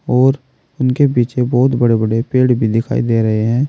और उनके पीछे बहुत बड़े बड़े पेड़ भी दिखाई दे रहे हैं।